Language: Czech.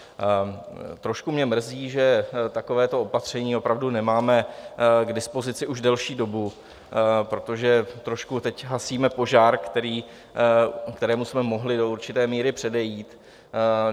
Trošku mě mrzí, že takovéto opatření opravdu nemáme k dispozici už delší dobu, protože trošku teď hasíme požár, kterému jsme mohli do určité míry předejít.